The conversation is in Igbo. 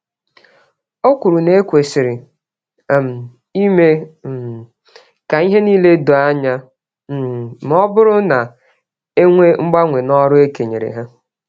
Okwuru na ekwesịrị um ime um k'ihe nile doo ányá, um mọbụrụ na enwee mgbanwe n'ọrụ e kenyeere ha